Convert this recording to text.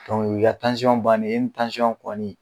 o y'i ka bannen ye e ni kɔni.